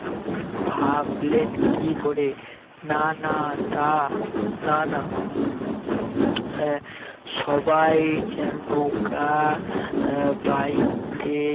ভাবলেন কি করে না না তা না না হ্যাঁ সবাই যেন নৌকা আহ বাইতে